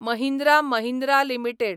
Mahindra Mahindra limited